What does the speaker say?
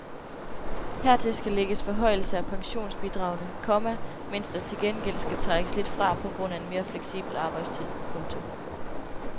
Hertil skal lægges forhøjelser af pensionsbidragene, komma mens der til gengæld skal trækkes lidt fra på grund af en mere fleksibel arbejdstid. punktum